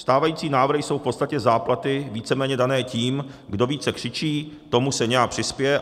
Stávající návrhy jsou v podstatě záplaty, víceméně dané tím, kdo více křičí, tomu se nějak přispěje.